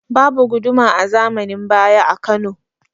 Babu Guduma a zamanin baya a Kano